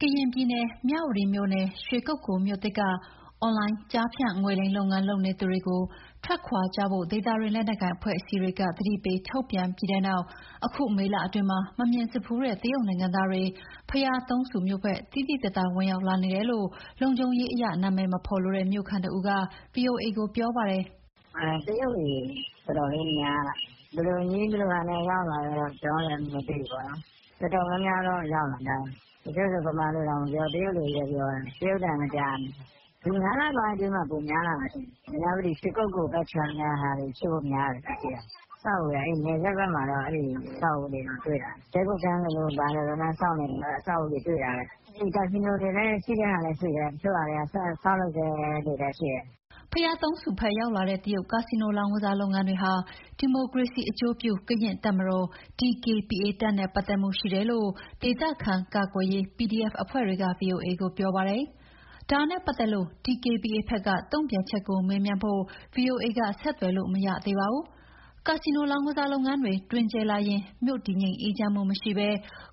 ကရင်ပြည်နယ် မြဝတီမြို့နယ် ရွှေကုက္ကိုမြို့သစ်က အွန်လိုင်းကျားဖြန့်ငွေလိမ်လုပ်ငန်း လုပ်နေသူတွေကိုထွက်ခွာကြဖို့ ဒေသတွင်းလက်နက်ကိုင်အဖွဲ့အစည်းတွေက သတိပေးထုတ်ပြန်ပြီးတဲ့နောက် အခုမေလအတွင်းမှာ မမြင်ဘူးတဲ့ တရုတ်နိုင်ငံသားတွေ ဘုရာသုံးဆူမြို့ဘက် သိသိသာသာ ဝင်ရောက်လာနေတယ်လို့ လုံခြုံရေးအရ နာမည်မဖော်လိုတဲ့ မြို့ခံတဦးက ဗွီအိုအေကို ပြောပါတယ်။ “တရုတ်တွေ တော်တော်လေး များလာတယ်။ ဘယ်လိုနည်း ဘယ်ဟန်နဲ့ ရောက်လာတာတော့ ကျနော်တို့လည်း မသိဘူးပေါ့နော်။ တော်တော်များများတော့ ရောက်လာကြတယ်။ တချို့ဆို ဗမာလိုတောင် မပြောဘူး။ တရုတ်လိုပဲ ပြောနေတယ်။ တရုတ်အသံပဲ ကြားနေရတယ်။ ဒီ ၅ လပိုင်းအတွင်းမှာ ပိုများတာထင်တယ်။ မြဝတီ ရွှေကုက္ကိုဘက်ခြမ်းကဟာတွေဖြစ်ဖို့ များတယ် ကျနော်ကြည့်ရတာ။ အဲ့နယ်စပ်ဘက်မှာတော့ အဲ့ဒီအဆောက်အဦးတော့ တွေ့တာပဲ၊ တည်ခိုခန်းလိုလို ဘာလိုလိုနဲ့ ဆောက်နေတာ။ အဆောက်အဦးတွေ တွေ့တာပဲ။ ကာစီနိုထင်တယ်၊ ရှိတဲ့ဟာလည်း ရှိတယ်၊ တချို့ဟာတွေက ဆောက်လုပ်ဆဲတွေလည်း ရှိတယ်။” ဘုရားသုံးဆူဘက်ရောက်လာတဲ့ တရုတ်ကာစီနိုလောင်းကစားလုပ်ငန်းတွေဟာ ဒီမိုကရေစီအကျိုးပြုကရင့်တပ်မတော်-DKBA တပ်နဲ့ ပတ်သက်မှုရှိတယ်လို့ ဒေသခံကာကွယ်ရေး PDF အဖွဲ့တွေက ဗွီအိုအေကို ပြောပါတယ်။ ဒါနဲ့ပတ်သက်လို့ DKBA ဘက်က တုံ့ပြန်ချက်ကို မေးမြန်းဖို့ ဗွီအိုအေက ဆက်သွယ်လို့ မရသေးပါဘူး။ ကာစီနို လောင်းကစားလုပ်ငန်းတွေ တွင်ကျယ်လာရင် မြို့တည်ငြိမ်းအေးချမ်းမှုမရှိဘဲ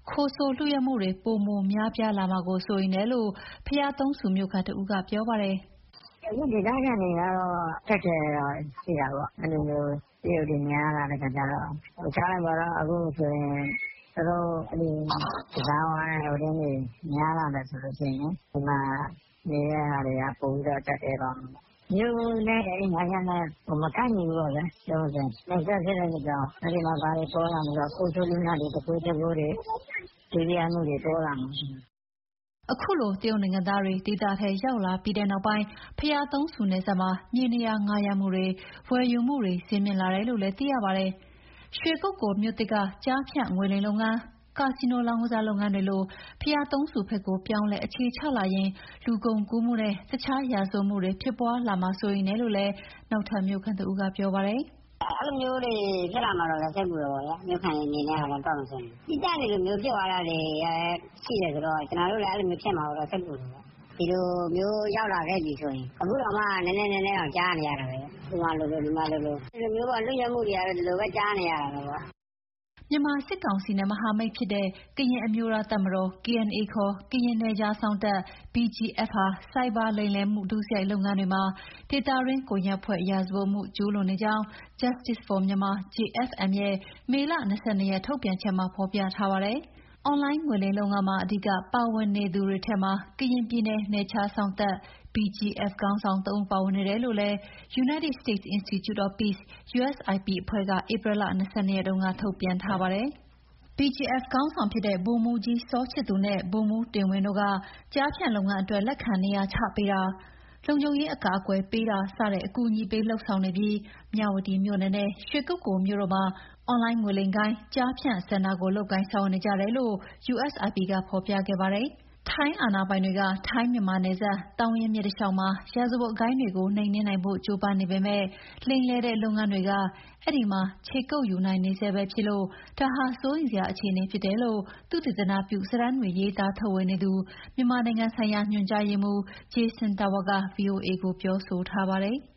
ခိုးဆိုးလုယုက်မှုတွ ပိုမိုများပြားလာမှာကို စိုးရိမ်တယ်လို့ ဘုရားသုံးဆူမြို့ခံတဦးက ပြောပါတယ်။ “အခု ဒေသခံတွေကလည်း အခက်အခဲတော့ ရှိတာပေါ့။ အဲ့လိုမျိုး တရုတ်တွေ များလာတဲ့အခါကျတော့- ထားလိုက်ပါတော့... အခုဆိုရင် သူတို့ ကစားဝိုင်းတွေ များလာမယ်ဆိုလို့ရှိရင် ဒီမှာ နေတဲ့ဟာတွေက ပိုပြီးတော့ ကျပ်တည်းသွားမယ်။ မြို့နဲ့ အဲ့လိုင်းနဲ့ မကိုက်ညီဘူးပေါ့ဗျာ- ပြောမယ်ဆိုရင်။ နယ်စပ်ဖြစ်တဲ့အတွက်ကြောင့် အဲ့ဒီမှာ ခိုးဆိုးလုယက်တွေ သူခိုးဂျပိုးတွေ လုယက်မှုတွေ ပေါ်လာမှာ။” အခုလို တရုတ်နိုင်ငံသားတွေ ဒေသထဲ ရောက်လာပြီးနောက်ပိုင်း ဘုရားသုံးဆူနယ်စပ်မှာ မြေနေရာငှားရမ်းမှုတွေ၊ ဝယ်ယူမှုတွေ ဈေးမြင့်လာတယ်လို့လည်း သိရပါတယ်။ ရွှေကုက္ကိုမြို့သစ်က ကျားဖြန့်ငွေလိမ်လုပ်ငန်း၊ ကာစီနိုလောင်းကစားလုပ်ငန်းတွေလို ဘုရားသုံးဆူဘက်ကို ပြောင်းလဲအခြေချလာရင် လူကုန်ကူးမှုနဲ့ တခြား ရာဇဝတ်မှုတွေ ဖြစ်ပွားလာမှာ စိုးရိမ်တယ်လို့လည်း နောက်ထပ်မြို့ခံတဦးက ပြောပါတယ်။ “အဲ့လိုမျိုးတွေ ဖြစ်လာမှာလည်း စိတ်ပူတာပေါ့ဗျာ။ မြို့ခံတွေအနေနဲ့ကတော့ သီးသန့်တွေဖြစ်သွားတာရှိတယ်ဆိုတော့ ကျနော်တို့လည်း အဲ့လိုဖြစ်မှာကို စိတ်ပူတယ်။ ဒီလိုမျိုး ရောက်လာခဲ့ပြီးဆိုရင် အခုတောင်မှ နည်းနည်းစီကြားနေရတာပဲ။ ဟိုမှာလိုလို ဒီမှာလိုလို ဒီလိုမျိုးပေါ့၊ လုယက်မှုတွေကတော့ ဒီလိုပဲ ကြားနေရတာပဲပေါ့။” မြန်မာစစ်ကောင်စီနဲ့မဟာမိတ်ဖြစ်နေတဲ့ ကရင်အမျိုးသားတပ်မတော် ခေါ် ကရင်နယ်ခြားစောင့်တပ် ဟာ ဆိုက်ဘာလိမ်လည် ဒုစရိုက်လုပ်ငန်းတွေမှာ ဒေသတွင်းကွန်ရက်ဖွဲ့ ရာဇဝတ်မှုကျူးလွန်နေကြောင်း Justic for Myanmar ရဲ့ ဒီကနေ့ မေလ ၂၂ ရက် ထုတ်ပြန်ချက်မှာ ဖော်ပြထားပါတယ်။ အွန်လိုင်းငွေလိမ်လုပ်ငန်းမှာ အဓိက ပါဝင်တွေသူထဲမှာ ကရင်ပြည်နယ် နယ်ခြားစောင့်တပ် BGF ခေါင်းဆောင် ၃ ဦးပါဝင်နေတယ်လို့လည်း United States Institute of Peace အဖွဲ့က ဧပြီလ ၂၂ ရက်က ထုတ်ပြန်ထားပါတယ်။ BGF ခေါင်းဆောင်ဖြစ်တဲ့ ဗိုလ်မှူးကြီး စောချစ်သူနဲ့ ဗိုလ်မှူး တင်ဝင်းတို့က ကျားဖြန့်လုပ်ငန်းအတွက် လက်ခံနေရာချပေးတာ၊ လုံခြုံရေးအကာအကွယ်ပေးထား စတဲ့ အကူအညီပေးလုပ်ဆောင်နေပြီး မြဝတီမြို့နယ်နဲ့ ရွှေကုက္ကိုမြို့တို့မှာ အွန်လိုင်း ငွေလိမ်ဂိုဏ်း ကျားဖြန့်စင်တာကို လုပ်ကိုင်ဆောင်ရွက်နေကြတယ်လို့ USIP က ဖော်ပြခဲ့ပါတယ်။ ထိုင်းအာဏာပိုင်တွေက ထိုင်း-မြန်မာနယ်စပ် သောင်းရင်းမြစ်တလျှောက်မှာ ရာဇဝတ်ဂိုဏ်းတွေကို နှိမ်နင်းနိုင်ဖို့ ကြိုးပမ်းနေပေမယ့် လိမ်လည်တဲ့ လုပ်ငန်းတွေက အဲ့ဒီမှာ ခြေကုပ်ယူနိုင်နေဆဲပဲဖြစ်လို့ ဒါဟာ စိုးရိမ်စရာအခြေအနေဖြစ်နေတယ်လို့ သုတေသနပြုစာတမ်းတွေ ရေးသားထုတ်ဝေနေသူ မြန်မာနိုင်ငံဆိုင်ရာ ညွှန်ကြားရေးမှူး ဂျေဆင်တာဝါ က ဗွီအိုအေကို ပြောထားပါတယ်။